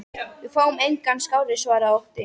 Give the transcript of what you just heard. Við fáum engan skárri, svaraði Otti.